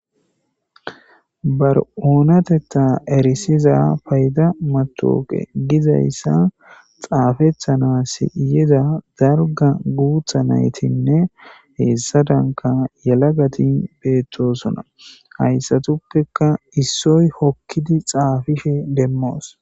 "Ba oonatetha erisiza payida matawuqe gizayisa xaafetanas yida dalgga guutha nayitinne hessadankka yelagati beetosona haysatuppeka issoy hokkidi xaafishin demoos ."